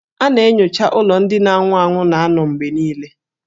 A na-enyocha ụlọ ndị na-anwụ anwụ na-anọ mgbe niile.